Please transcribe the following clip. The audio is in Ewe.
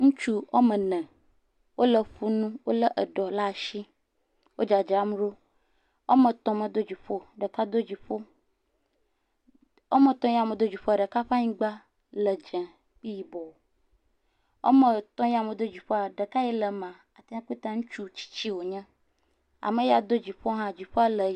Ŋutsu wo ame ene wo le ƒu nu wo lé eɖɔ ɖe asi wo dzadram ɖo, wo ame etɔ me do dziƒo o, ɖeka do dziƒo, wo ame etɔ ya me do dziƒo woa, ɖeka ƒe anyigba le dzii kple yibɔ, wo ame etɔ ya me do dziƒo woa, ɖeka le mea ŋutsu tsitsi wo nye ame ya do dziƒo hã dziƒoa le ɣie.